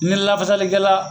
Ni lafasalikɛla